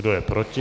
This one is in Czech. Kdo je proti?